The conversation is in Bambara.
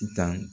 I tan